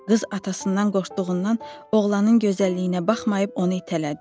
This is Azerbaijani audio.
Qız atasından qorxduğundan oğlanın gözəlliyinə baxmayıb onu itələdi.